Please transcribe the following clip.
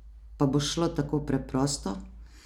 Pa bo šlo tako preprosto?